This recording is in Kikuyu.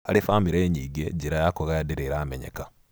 Harĩ bamĩrĩ nyingĩ, njĩra ya kũgaya ndĩrĩ ĩramenyeka